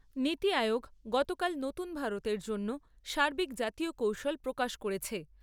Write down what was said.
নীতি আয়োগ গতকাল নতুন ভারতের জন্য সার্বিক জাতীয় কৌশল প্রকাশ করেছে।